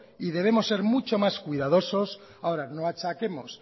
y debemos ser mucho más cuidadosos ahora no achaquemos